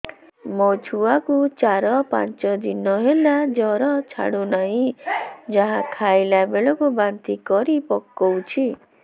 ମୋ ଛୁଆ କୁ ଚାର ପାଞ୍ଚ ଦିନ ହେଲା ଜର ଛାଡୁ ନାହିଁ ଯାହା ଖାଇଲା ବେଳକୁ ବାନ୍ତି କରି ପକଉଛି